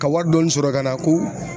Ka wari dɔɔni sɔrɔ ka na ko